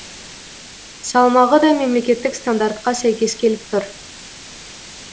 салмағы да мемлекеттік стандартқа сәйкес келіп тұр